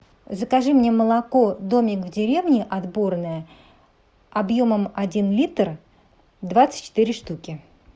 закажи мне молоко домик в деревне отборное объемом один литр двадцать четыре штуки